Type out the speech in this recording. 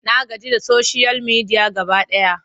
Na gaji da soshiyal media gaba ɗaya.